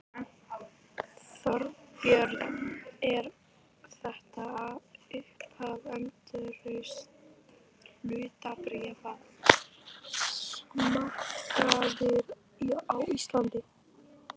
Þorbjörn: Er þetta upphaf endurreists hlutabréfamarkaðar á Íslandi?